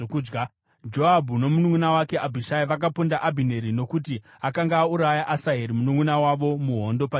(Joabhu nomununʼuna wake Abhishai vakaponda Abhineri nokuti akanga auraya Asaheri mununʼuna wavo muhondo paGibheoni.)